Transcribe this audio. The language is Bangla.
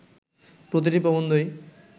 প্রতিটি প্রবন্ধই